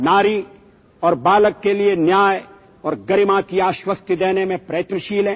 এই দিনটোত আমি বিশেষকৈ সেই আৰক্ষী সহকৰ্মীসকলক স্মৰণ কৰোঁ যিসকলে দেশৰ সেৱাত প্ৰাণ আহুতি দিছে